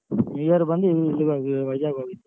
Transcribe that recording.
New year ಬಂದು ಇಲ್ಲಗ್ ಹೋಗ್ ವೈಝಗ್ ಹೋಗ್ಗಿದ್ದು.